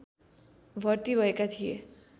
भर्ति भएका थिए